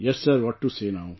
Yes sir what to say now